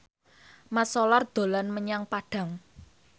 Mat Solar dolan menyang Padang